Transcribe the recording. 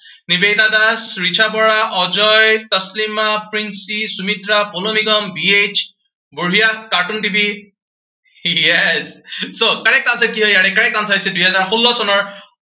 Nivedita Das, Richa Bora, Ajay, Taslima, Princhi, Sumitra Purna Nigam, B H, বঢ়িয়া, cartoon TV yes so, correct answer কি হয় ইয়াৰে, correct answer হৈছে দুহাজাৰ ষোল্ল চনৰ